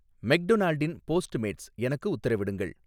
மெக்டொனால்டின் Postmates எனக்கு உத்தரவிடுங்கள்